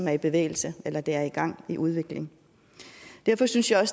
er i bevægelse eller der er gang i udviklingen derfor synes jeg